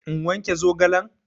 In wanke zogalen?